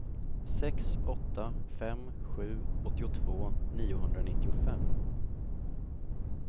sex åtta fem sju åttiotvå niohundranittiofem